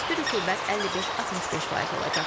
Nisbi rütubət 55-65% olacaq.